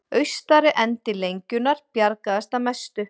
Austari endi lengjunnar bjargaðist að mestu